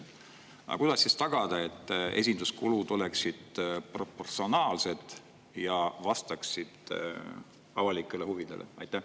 Aga kuidas tagada, et esinduskulud oleksid proportsionaalsed ja vastaksid avalikele huvidele?